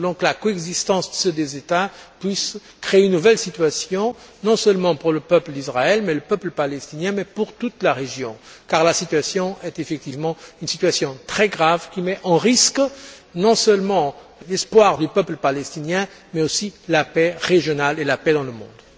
Nous voulons que la coexistence de ces deux États puisse créer une nouvelle situation, non seulement pour le peuple d'Israël et le peuple palestinien, mais aussi pour toute la région, car c'est effectivement là une situation très grave, qui met en péril non seulement l'espoir du peuple palestinien, mais aussi la paix régionale et la paix dans le monde.